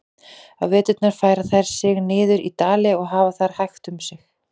Á veturna færa þær sig niður í dali og hafa þar hægt um sig.